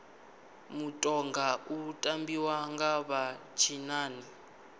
mutoga u tambiwa nga vha tshinnani